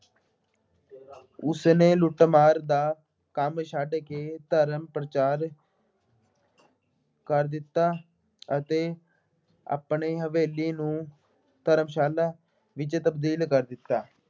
ਉਸਨੇ ਲੁੱਟ ਮਾਰ ਦਾ ਕੰਮ ਛੱਡ ਕੇ ਧਰਮ ਪ੍ਰਚਾਰ ਕਰ ਦਿੱਤਾ ਅਤੇ ਆਪਣੀ ਹਵੇਲੀ ਨੂੰ ਧਰਮਸ਼ਾਲਾ ਵਿੱਚ ਤਬਦੀਲ ਕਰ ਦਿੱਤਾ